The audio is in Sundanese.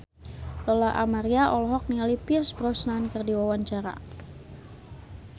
Lola Amaria olohok ningali Pierce Brosnan keur diwawancara